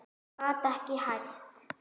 Gat ekki hætt.